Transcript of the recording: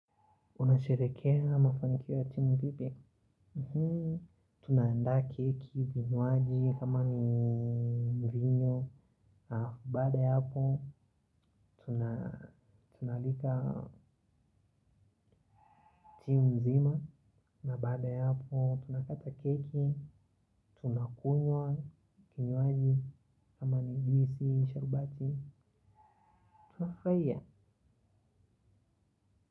Unasherehekea mafanikio ya timu vipi? Tunaanda keki, vinywaji, kama ni mvinyo. Baada ya hapo, tunaalika timu nzima. Na baada ya hapo, tunakata keki, tunakunywa, kinywaji, kama ni juisi, sharubati. Tunafurahia.